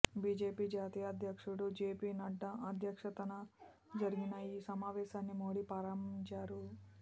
BJP జాతీయాధ్యక్షుడు జెపి నడ్డా అధ్యక్షతన జరిగిన ఈ సమావేశాన్ని మోడీ ప్రారంభించారు